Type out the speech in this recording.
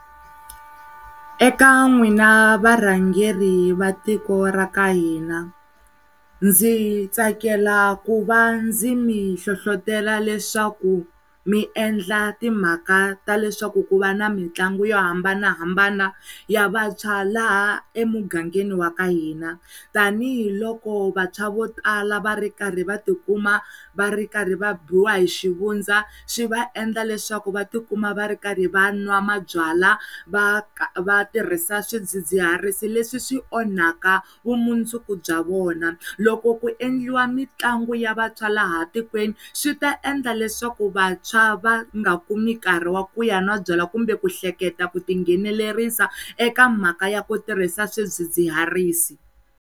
Eka n'wina varhangeri va tiko ra ka hina ndzi tsakela ku va ndzi mi nhlohlotelo leswaku miendla timhaka ta leswaku ku va ni mitlangu yo hambanahambana ya vantshwa laha emugangeni wa ka hina tanihiloko vantshwa vo tala varikarhi va tikuma va rikarhi va biwa hixivundza swi va endla leswaku vatikuma va ri karhi van'wa mabyalwa va vatirhisi swidzidziharisi leswi swi onhaka vumundzuku bya vona loko ku endliwa mitlangu ya vatswari laha tikweni swi ta endla leswaku vatswa va nga kumi nkarhi wa ku ya n'wa byala kumbe ku hleketa ku tinghenilerisa eka mhaka ya ku tirhisa swidzidziharisi.